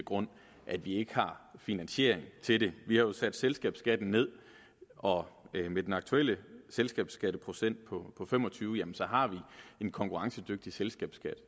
grund at vi ikke har finansiering til det vi har jo sat selskabsskatten ned og med den aktuelle selskabsskatteprocent på fem og tyve har vi en konkurrencedygtig selskabsskat